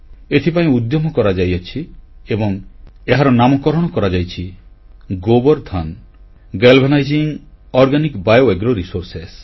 ଏଥିପାଇଁ ଉଦ୍ୟମ କରାଯାଇଅଛି ଏବଂ ଏହାର ନାମକରଣ କରାଯାଇଛି Gobardhan galvanizing organic bio agro resource